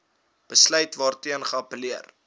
besluit waarteen geappelleer